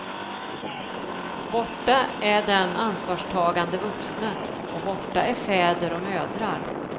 Borta är den ansvarstagande vuxne, och borta är fäder och mödrar.